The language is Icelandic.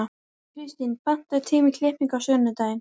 Kirstín, pantaðu tíma í klippingu á sunnudaginn.